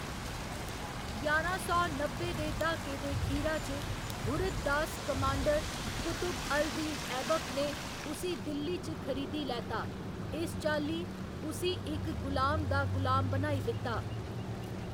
ञारां सौ नब्बे दे द्हाके दे खीरा च, घुरिद दास कमांडर कुतुब अल दीन ऐबक ने उसी दिल्ली च खरीदी लैता, इस चाल्ली उसी इक गुलाम दा गुलाम बनाई दित्ता।